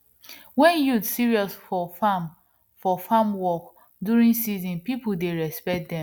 when youth serious for farm for farm work during season people dey respect dem